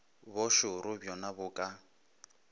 bo šoro bjona bo ka